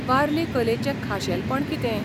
वारली कलेचें खाशेलपण कितें?